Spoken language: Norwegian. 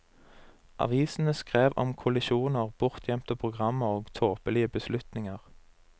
Avisene skrev om kollisjoner, bortgjemte programmer og tåpelige beslutninger.